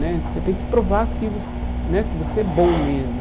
Né que você tem que provar que vo né que você é bom mesmo.